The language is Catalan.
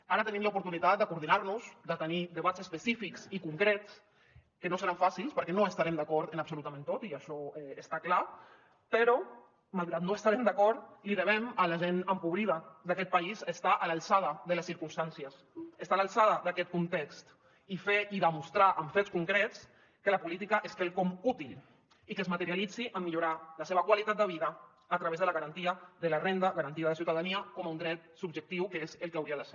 ara tenim l’oportunitat de coordinar nos de tenir debats específics i concrets que no seran fàcils perquè no estarem d’acord en absolutament tot i això està clar però malgrat que no hi estarem d’acord li devem a la gent empobrida d’aquest país estar a l’alçada de les circumstàncies estar a l’alçada d’aquest context i fer i demostrar amb fets concrets que la política és quelcom útil i que es materialitzi en millorar la seva qualitat de vida a través de la garantia de la renda garantida de ciutadania com un dret subjectiu que és el que hauria de ser